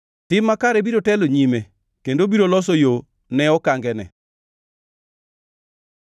Tim makare biro telo nyime kendo biro loso yo ne okangene.